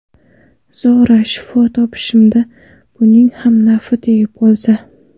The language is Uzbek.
Zora shifo topishimda buning ham nafi tegib qolsa.